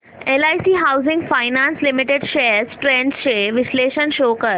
LIC housing finance limited shares trends चे विश्लेषण show कर